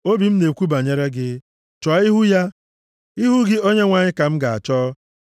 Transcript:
Obi m na-ekwu banyere gị, “Chọọ ihu ya!” Ihu gị, Onyenwe anyị, ka m ga-achọ.